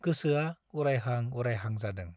गोसोआ उरायहां उरायहां जादों।